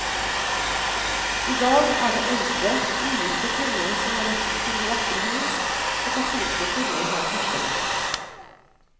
I dag er det eldre ugifte kvinner som har rett til de vakre hus, og katolske kvinner har førsterett.